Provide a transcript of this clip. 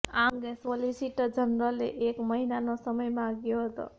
આ અંગે સોલિસિટર જનરલે એક મહિનાનો સમય માંગ્યો હતો